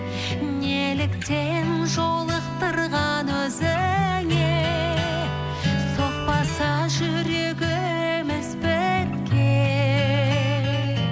неліктен жолықтырған өзіңе соқпаса жүрегіміз бірге